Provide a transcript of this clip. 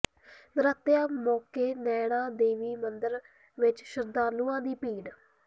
ਨਰਾਤਿਆਂ ਮੌਕੇ ਨੈਣਾ ਦੇਵੀ ਮੰਦਰ ਵਿਚ ਸ਼ਰਧਾਲੂਆਂ ਦੀ ਭੀੜ